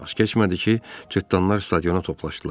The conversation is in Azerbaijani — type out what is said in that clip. Az keçmədi ki, cırtanlar stadiona toplaşdılar.